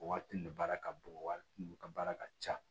O waati de baara ka bon wari ka ca